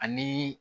Ani